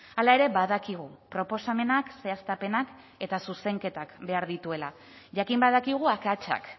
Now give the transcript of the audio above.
hala ere badakigu proposamenak zehaztapenak eta zuzenketak behar dituela jakin badakigu akatsak